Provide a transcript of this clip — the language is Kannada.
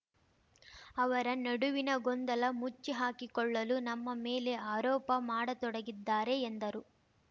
ಅವರ ನಡುವಿನ ಗೊಂದಲ ಮುಚ್ಚಿಹಾಕಿಕೊಳ್ಳಲು ನಮ್ಮ ಮೇಲೆ ಆರೋಪ ಮಾಡತೊಡಗಿದ್ದಾರೆ ಎಂದರು